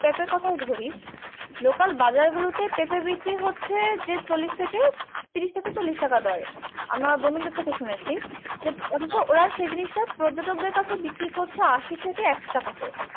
পেঁপের কোথায় ধরি লোকাল বাজারগুলোতে পেঁপে বিক্রি হচ্ছে যে চল্লিশ থেকে তিরিশ থেকে চল্লিশ টাকা দরে আমার বন্ধুদের থেকে শুনেছি, অথচ ওরা সে জিনিসটা পর্যটকদের কাছে বিক্রি করছে আসি থেকে একশো টাকা দরে